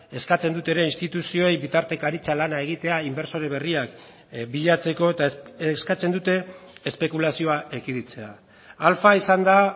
eskatzen dute ere instituzioei bitartekaritza lana egitea inbertsore berriak bilatzeko eta eskatzen dute espekulazioa ekiditea alfa izan da